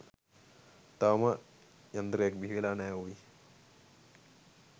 තවම යන්තරයක් බිහි වෙලා නෑ ඕයි